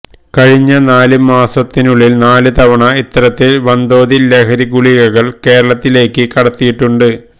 കഴിഞ്ഞ നാലുമാസത്തിനുള്ളില് നാലുതവണ ഇത്തരത്തില് വന്തോതില് ലഹരി ഗുളികകള് കേരളത്തിലേയ്ക്ക് കടത്തിയിട്ടുണ്ട്